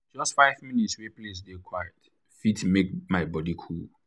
just five minutes wey place dey quiet fit make my body cool.